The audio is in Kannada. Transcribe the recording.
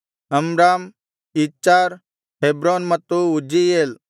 ಅಮ್ರಾಮ್ ಇಚ್ಹಾರ್ ಹೆಬ್ರೋನ್ ಮತ್ತು ಉಜ್ಜೀಯೇಲ್